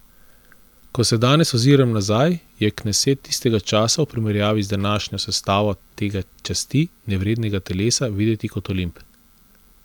Ko se danes oziram nazaj, je kneset tistega časa v primerjavi z današnjo sestavo tega časti nevrednega telesa videti kot Olimp.